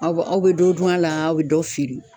Aw aw bɛ dɔ dun a la aw bɛ dɔ feere.